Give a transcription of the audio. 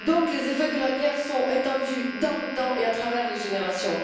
Les effets de la guerre sont donc étendus dans le temps et à travers les générations.